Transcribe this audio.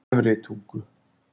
Efri Tungu